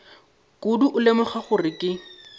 kudu go lemoga gore ke